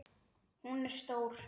Hún er stór.